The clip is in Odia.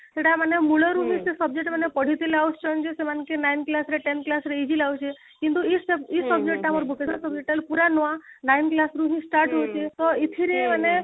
ସେଇଟା ମାନେ ମୂଳରୁ ହିଁ ସେ subject ମାନେ ପଢି ପଢି ଆସୁଛନ୍ତି ଯେ ସେମାନ କେ nine class ରେ କି tenth class ରେ evil ଏଇ ଯୋଉ ହିନ୍ଦୁ ଏଇ subject ଟା ଆମର vocational subject ପୁରା ନୂଆ nine class ରୁ ହିଁ start ହଉଛି ତ ଏଥିରେ ମାନେ